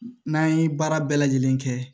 N'an ye baara bɛɛ lajɛlen kɛ